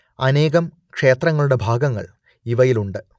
അനേകം ക്ഷേത്രങ്ങളുടെ ഭാഗങ്ങൾ ഇവയിലുണ്ട്